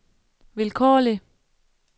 vilkårlig